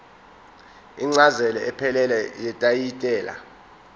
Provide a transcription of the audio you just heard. incazelo ephelele yetayitela